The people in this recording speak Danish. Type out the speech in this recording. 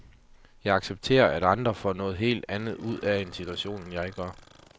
Jeg accepterer, at andre får noget helt andet ud af en situation, end jeg gør.